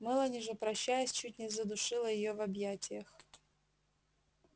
мелани же прощаясь чуть не задушила её в объятиях